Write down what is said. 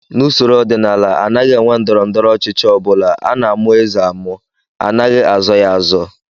N'usoro ọdịnala, anaghị enwe ndọrọndọrọ ọchịchị ọ bụla, a na-amụ eze amụ, anaghị azọ ya azọ